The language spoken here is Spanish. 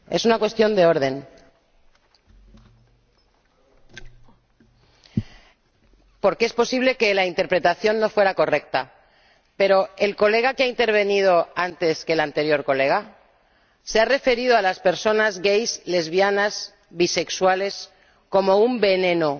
Señor Presidente, es una cuestión de orden, porque es posible que la interpretación no fuera correcta, pero el diputado que ha intervenido antes que el anterior diputado se ha referido a las personas gays, lesbianas y bisexuales como un veneno.